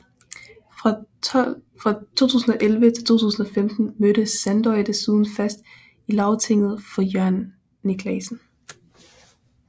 Fra 2011 til 2015 mødte Sandoy desuden fast i Lagtinget for Jørgen Niclasen